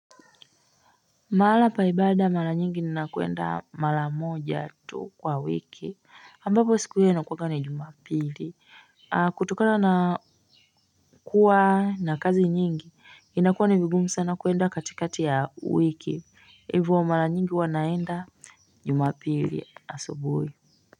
Mahala pa ibada mara nyingi ni nakuenda mara moja tu kwa wiki ambapo siku hiyo inakuwanga ni jumapili. Kutokana na kuwa na kazi nyingi inakuwa ni vigumu sana kuenda katikati ya wiki. Hivo mara nyingi huwa naenda jumapili asubuhi.